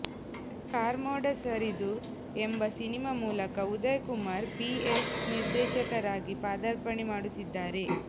ಕಾರ್ಮೋಡ ಸರಿದು ಎಂಬ ಸಿನಿಮಾ ಮೂಲಕ ಉದಯ್ ಕುಮಾರ್ ಪಿಎಸ್ ನಿರ್ದೇಶಕರಾಗಿ ಪಾದಾರ್ಪಣೆ ಮಾಡುತ್ತಿದ್ದಾರೆ